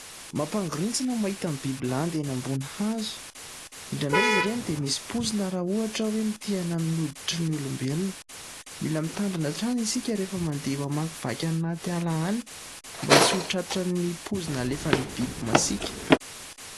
Mampangorintsina ny mahita ny biby landy eny ambony hazo, indrandray izy ireny dia misy poizina raha ohatra hoe mitehana amin'ny hoditrin' ny olombelona. Mila mitandrina hatrany isika rehefa mandeha mamakivaky any anaty ala any, mba tsy ho tratran'ny poizina alefan'ny biby masiaka.